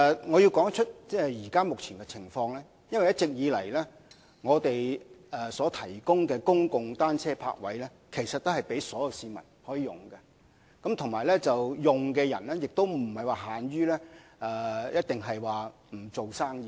我要指出現時這種情況，是因為一直以來，政府提供的公共單車泊位都是供所有市民使用，而且使用者亦不僅限於作非商業模式用途。